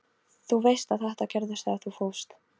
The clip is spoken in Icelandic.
Þú veist að þetta gerðist þegar þú fórst.